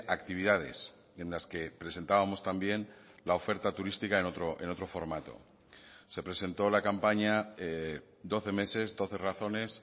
actividades en las que presentábamos también la oferta turística en otro formato se presentó la campaña doce meses doce razones